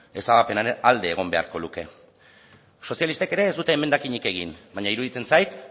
ezabapenaren alde egon beharko luke sozialistek ere ez dute emendakinik egin baina iruditzen zait